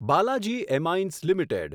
Balaji Amines limited